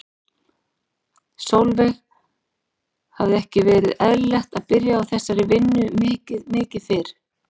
Sólveig: Hefði ekki verið eðlilegt að byrja á þessari vinnu mikið mikið fyrr?